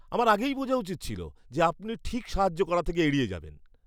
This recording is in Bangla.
আমার আগেই বোঝা উচিত ছিল যে আপনি ঠিক সাহায্য করা থেকে এড়িয়ে যাবেন।